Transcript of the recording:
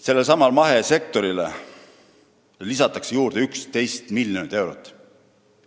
Sellelesamale mahesektorile antakse juurde 11 miljonit eurot.